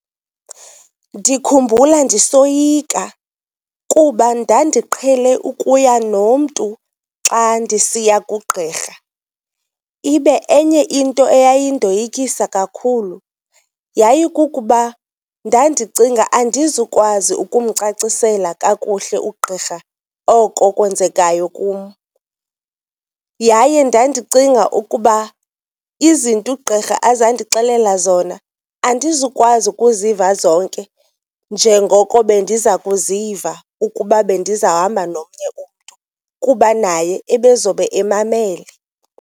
Ndikhumbula ndisoyika kuba ndandiqhele ukuya nomntu xa ndisiya kugqirha, ibe enye into eyayindoyikisa kakhulu yayikukuba ndandicinga andizukwazi ukumcacisela kakuhle ugqirha oko kwenzekayo kum yaye ndandicinga ukuba izinto ugqirha azandixelela zona, andizukwazi ukuziva zonke njengoko bendiza kuziva ukuba bendizohamba nomnye umntu kuba naye ebezobe emamele.